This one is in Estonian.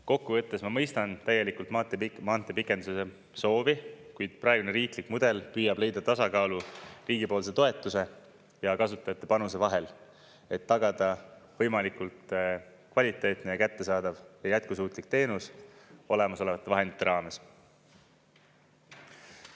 Kokku võttes, ma mõistan täielikult maanteepikenduse soovi, kuid praegune riiklik mudel püüab leida tasakaalu riigipoolse toetuse ja kasutajate panuse vahel, et tagada võimalikult kvaliteetne ja kättesaadav ja jätkusuutlik teenus olemasolevate vahendite raames.